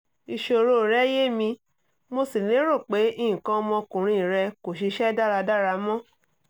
ìṣòro rẹ́ yé mi mo sì lérò pé nǹkan ọmọkùnrin rẹ kò ṣiṣẹ́ dáradára mọ́